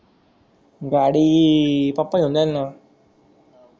गाडी papa घेऊन जाईल न